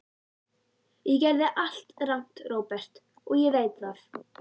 Ég gerði allt rangt, Róbert, og ég veit það.